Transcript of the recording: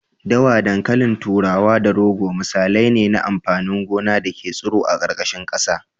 Dawa, dankalin turawa da rogo misalai ne na amfanin gona da ke tsiro a ƙarƙashin ƙasa.